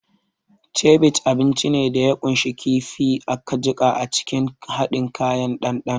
Ceviche abinci ne da ya ƙunshi kifi aka jiƙa a cikin haɗin kayan dandano.